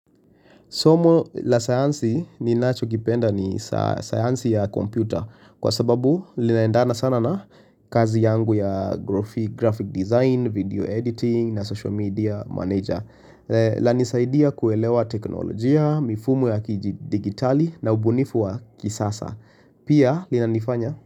Somo la sayansi ninachokipenda ni sayansi ya kompyuta kwa sababu linaendana sana na kazi yangu ya graphic design, video editing na social media manager lanisaidia kuelewa teknolojia, mifumo ya kidijitali na ubunifu wa kisasa. Pia linanifanya.